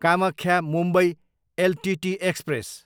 Kamakhya, Mumbai LTT express